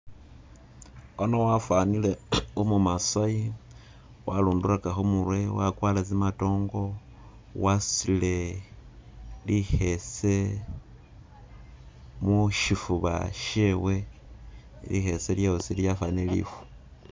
Ono wafanile umu masayi warunduraka khumurwe wakwara zimatongo wasutile likhese mushifuba shewe likhese lyosi lyafanile lifu